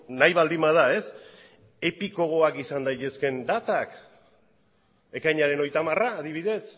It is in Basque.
nahi baldin bada epikoagoak izan daitezkeen datak ekainaren hogeita hamara adibidez